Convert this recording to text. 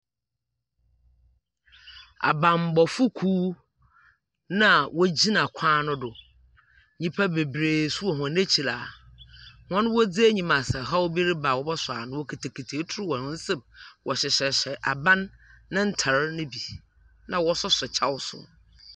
Abanbɔfo kuw na wogyina kwan no do. Nyimpa beberee nso wɔ hɔ ekyir a hɔn wɔdzi enyim a ɔhaw bi reba wɔwɔsɔ ano. Wokitakita etu wɔ hɔn nsamu. Wɔhyehyɛhyehyɛ aban ne ntar no bi, na wɔsoso kyɛw nso.